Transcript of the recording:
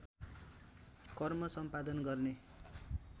कर्म सम्पादन गर्ने